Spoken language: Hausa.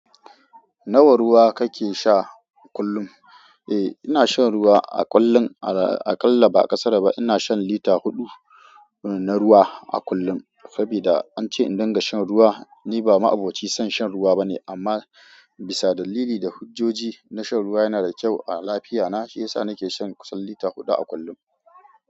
Nawa ruwa kake sha kullum? Eh, ina shan ruwa a kullum. Aƙalla ba ƙasara ba. Ina shan lita huɗu na ruwa a kullum. Sabida an ce in dinga shan ruwa. Ni ba ma'aboci san shan ruwa bane amma bisa dalili da hujjoji na shan ruwa yana da kyau a lafiyana shiyasa nake shan kusan lita huɗu a kullum.